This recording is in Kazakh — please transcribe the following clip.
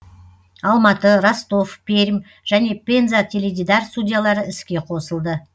алматы ростов пермь және пенза теледидар студиялары іске қосылды